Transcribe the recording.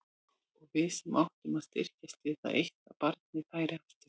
Og við sem áttum að styrkjast við það eitt að barninu færi aftur.